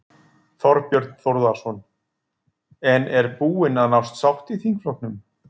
Þorbjörn Þórðarson: En er búin að nást sátt í þingflokknum?